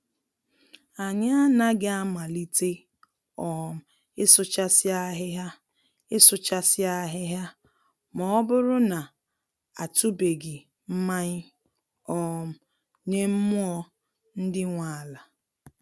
Anyị anaghị amalite um ịsụchasị ahịhịa ịsụchasị ahịhịa ma ọ bụrụ na a tụbeghị mmayị um nye mmụọ ndị nwe ala